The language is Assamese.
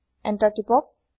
এন্তাৰ টিপক